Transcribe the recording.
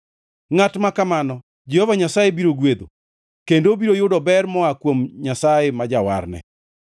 Ngʼat ma kamano Jehova Nyasaye biro gwedho kendo obiro yudo ber moa kuom Nyasaye ma Jawarne.